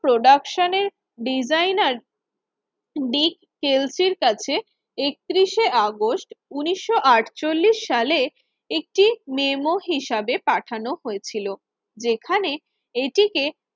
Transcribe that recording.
প্রোডাকশনের ডিজাইনার বিগ কেলস এর কাছে একত্রিশ শে আগস্ট উন্নিশশো আটচল্লিশ সালে একটি মেমো হিসাবে পাঠানো হয়েছিল। যেখানে এটিকে